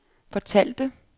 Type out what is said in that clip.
fortalte